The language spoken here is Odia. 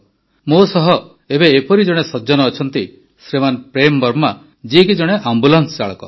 ମୋ ସହ ଏବେ ଏପରି ଜଣେ ସଜ୍ଜନ ଅଛନ୍ତି ଶ୍ରୀମାନ ପ୍ରେମ ବର୍ମା ଯିଏକି ଜଣେ ଆମ୍ବୁଲାନ୍ସ ଚାଳକ